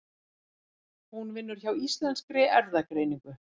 Hún vinnur hjá Íslenskri erfðagreiningu.